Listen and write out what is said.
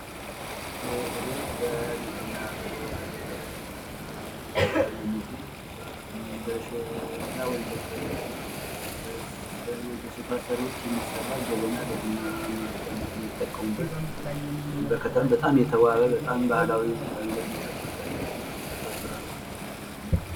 ይህ ንግድና ግብይት ውስጥ የሚገኝ ከሸክላ በሸክላ ሰሪዎች የተሰራ ለቡና ማፍያነት የምንጠቀምበት በጣም የሚያምር ስራ ነው ።